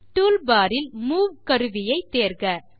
toolbar இல் move கருவியை தேர்க